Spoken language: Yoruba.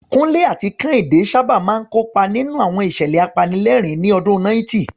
Kunle àti Kehinde sábà máa ń kópa nínú àwọn ìṣẹ̀lẹ̀ apanilẹ́rìn-ín ní ọdún 90.